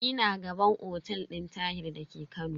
Ina gaban otel din Tahir da ke Kano.